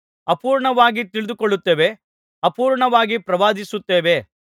ಅಪೂರ್ಣವಾಗಿ ತಿಳಿದುಕೊಳ್ಳುತ್ತೇವೆ ಅಪೂರ್ಣವಾಗಿ ಪ್ರವಾದಿಸುತ್ತೇವೆ